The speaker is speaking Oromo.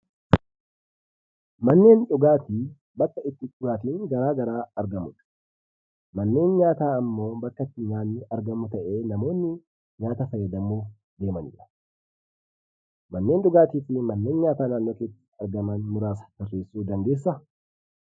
Manneen dhugaatii bakka itti dhugaatiin garaa garaa itti argamudha. Manneen nyaataa ammoo bakka itti nyaatni argamu ta'ee, namoonni nyaata fayyadamuu deemanidha. Manneen dhugaatii fi manneen nyaataa naannoo keetti argaman muraasa tarreessuu dandeessaa?